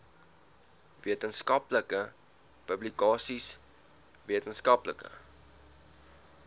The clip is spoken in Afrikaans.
wetenskaplike publikasies wetenskaplike